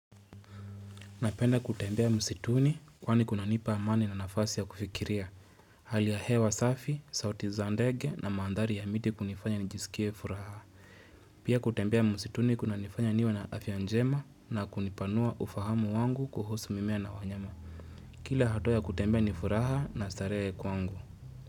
Napenda kutembea msituni kwani kuna nipa amani na nafasi ya kufikiria. Hali ya hewa safi, sauti za ndege na manthari ya miti kunifanya nijisikie furaha. Pia kutembea msituni kuna nifanya niwe na afya njema na kunipanua ufahamu wangu kuhusu mimea na wanyama. Kila hatua ya kutembea nifuraha na starehe kwangu.